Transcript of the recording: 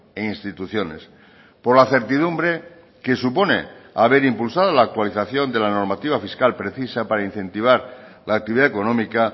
e instituciones por la certidumbre que supone haber impulsado la actualización de la normativa fiscal precisa para incentivar la actividad económica